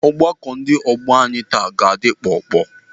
Ọgbakọ ndị ọgbọ anyị taa ga-adị kpọọ kpọọ.